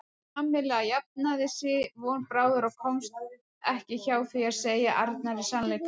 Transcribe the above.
Kamilla jafnaði sig von bráðar og komst ekki hjá því að segja Arnari sannleikann.